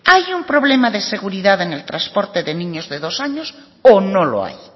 hay un problema de seguridad en el transporte de niños de dos años o no lo hay